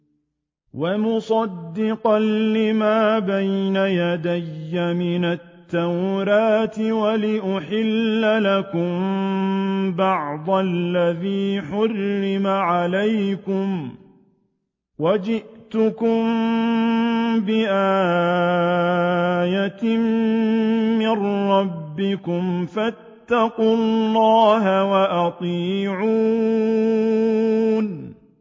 وَمُصَدِّقًا لِّمَا بَيْنَ يَدَيَّ مِنَ التَّوْرَاةِ وَلِأُحِلَّ لَكُم بَعْضَ الَّذِي حُرِّمَ عَلَيْكُمْ ۚ وَجِئْتُكُم بِآيَةٍ مِّن رَّبِّكُمْ فَاتَّقُوا اللَّهَ وَأَطِيعُونِ